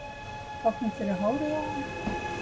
Hvað kom fyrir hárið á honum